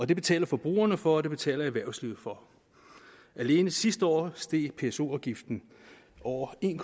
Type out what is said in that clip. det betaler forbrugerne for og det betaler erhvervslivet for alene sidste år steg pso afgiften over en